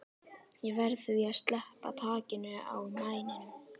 Ég verð því að sleppa takinu á mæninum.